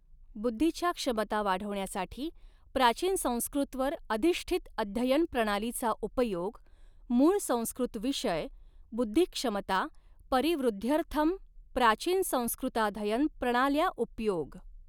बुद्धीच्या क्षमता वाढविण्यासाठी प्राचीन संस्कृतवर अधिष्ठित अध्ययन प्रणालीचा उपयोग, मूळ संस्कृत विषयः बुद्धिक्षमता परिवृद्ध्यर्थम् प्राचीनसंस्कृताधयन प्रणाल्या उपयोग।